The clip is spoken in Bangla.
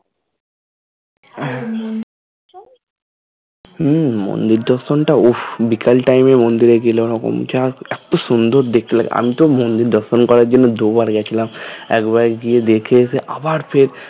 হ্যাঁ হম মন্দির দর্শন উফ বিকেল time এ মন্দিরে গেলে ঐরকম যা এতো সুন্দর দেখলাম আমি তো মন্দির দর্শন করার জন্য দুই বার গিয়েছিলাম একবার গিয়ে দেখে এসে আবার ফের